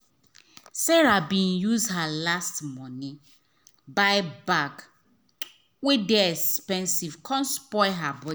sarah bin use her last money buy bag wey dey expensive come spoil her budget.